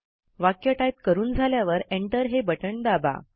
वाक्य टाईप करून झाल्यावर एंटर हे बटण दाबा